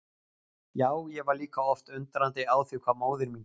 Já, ég var líka oft undrandi á því hvað móðir mín gat.